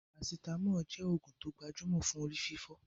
Paracetamol jẹ oògùn tó gbajúmọ̀ fún orí fífọ́